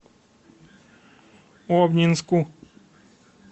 обнинску